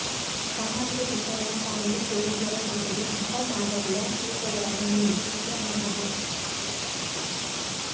ಸಾಮಾಜಿಕ ಚಿತ್ರಗಳ ಸಾಲಿಗೆ ಸೇರುವುದರ ಜೊತೆಗೆ ಸಿದ್ಧಮಾದರಿಯ ಸೂತ್ರಗಳನ್ನು ಮೀರಿದ ಚಿತ್ರ ನಮ್ಮದು